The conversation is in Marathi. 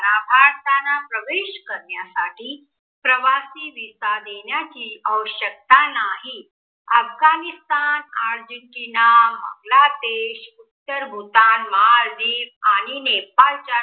भारताना प्रवेश करण्यासाठी प्रवासी visa देण्याचीआवश्यकता नाही. अफगाणिस्थान, आर्जेन्टिना, बांगलादेश, उत्तर भूतान, माल दिव्ज अनि नेपाळच्या